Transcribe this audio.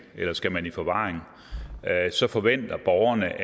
eller skal man i forvaring så forventer borgerne